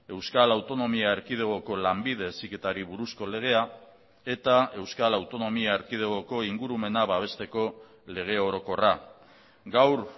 euskal autonomia erkidegoko lanbide heziketari buruzko legea eta euskal autonomia erkidegoko ingurumena babesteko lege orokorra gaur